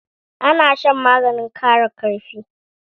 Ana shan maganin kara karfi